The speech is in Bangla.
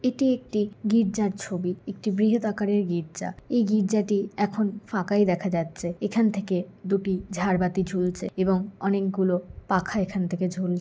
এটি একটি গির্জার ছবি। একটি বৃহৎ আকারের গির্জা। এই গির্জাটি এখন ফাঁকাই দেখা যাচ্ছে এখান থেকে দুটি ঝাড়বাতি ঝুলছে এবং অনেকগুলো পাখা এখান থেকে ঝুল--